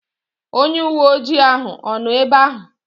Onye uwe ojii ahụ ọ nọ ebe ahụ?